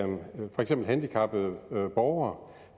handicappede borgere